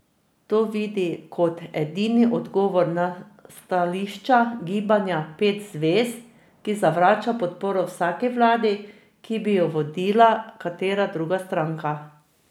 To vidi kot edini odgovor na stališče gibanja Pet zvezd, ki zavrača podporo vsaki vladi, ki bi jo vodila katera druga stranka.